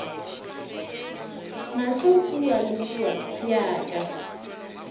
mahlo kua le kua bjaka